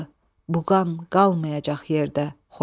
O qan qalmayacaq yerdə, Xocalı.